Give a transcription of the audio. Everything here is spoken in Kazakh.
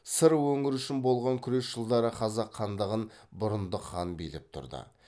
сыр өңірі үшін болған күрес жылдары қазақ хандығын бұрындық хан билеп тұрды